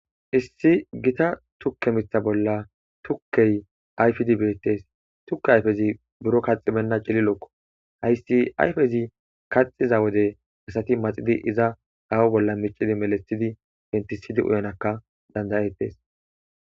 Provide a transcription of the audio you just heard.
Issi gita tukke mitha bolla tukkey ayfidi beetees. Tukke ayfezi buro qaxxi beyna cililoko. Hayssi ayfezi kaxxiza wode asati maxidi awa bolla melisidi pentisidi uyanawuka danda'etees.